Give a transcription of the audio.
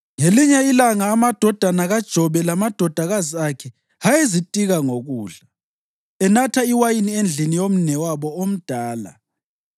Ngelinye ilanga amadodana kaJobe lamadodakazi akhe ayezitika ngokudla, enatha iwayini endlini yomnewabo omdala,